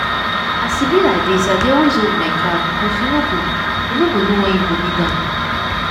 as e be like this i dey always hold my card because you no go you no go know when you go need am.